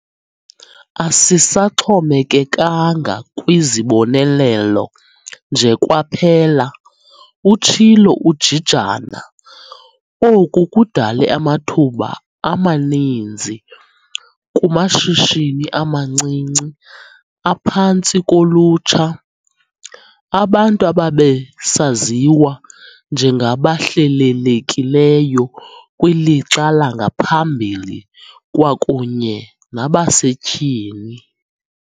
"Asisaxhomekekanga kwizibonelelo nje kwaphela," utshilo uJijana. Oku kudale amathuba amaninzi kumashishini amancinci aphantsi kolutsha, abantu ababesaziwa njengabahlelelekileyo kwilixa langaphambili kwakunye nabasetyhini.